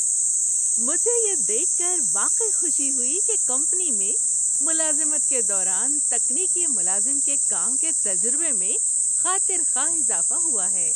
مجھے یہ دیکھ کر واقعی خوشی ہوئی کہ کمپنی میں ملازمت کے دوران تکنیکی ملازم کے کام کے تجربے میں خاطر خواہ اضافہ ہوا ہے۔